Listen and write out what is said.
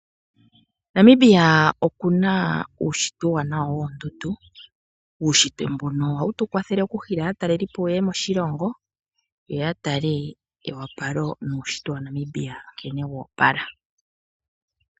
Namibia oku na uushitwe uuwanawa woondundu. Uushitwe mbuno ohawu tu kwathele okunana aatalelipo moshilongo, yo ya tale eyopalo nuushitwe waNamibia nkene wa opala.